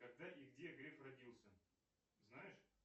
когда и где греф родился знаешь